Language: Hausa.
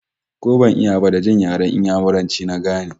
Ko ban iya ba, da jin yaren Inyamuranci na gane